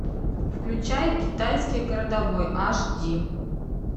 включай китайский городовой аш ди